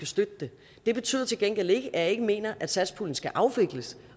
støtte det betyder til gengæld ikke at jeg ikke mener at satspuljen skal afvikles